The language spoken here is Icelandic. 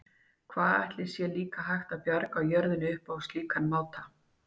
Hvað ætli sé líka hægt að bjarga jörðinni upp á slíkan máta?